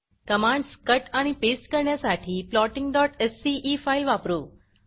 commands cut आणि paste करण्यासाठी plottingसीई फाईल वापरू